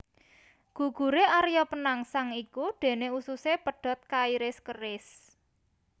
Guguré Arya Penangsang iku déné ususé pedhot kairis keris